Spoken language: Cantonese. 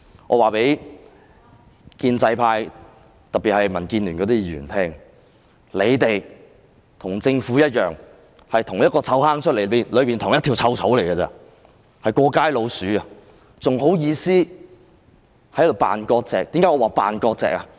我要告訴建制派，特別是民建聯的議員，你們與政府一樣，是同一個臭罌的同一條臭草，是"過街老鼠"，還有顏臉在這裏扮割席？